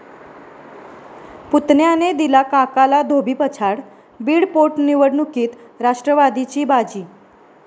पुतण्याने दिला काकाला धोबीपछाड, बीड पोटनिवडणुकीत राष्ट्रवादीची बाजी